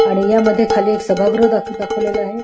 आणि या मध्ये खाली सभागृह दाखवलेला आहे.